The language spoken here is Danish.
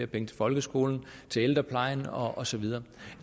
penge til folkeskolen til ældreplejen og så videre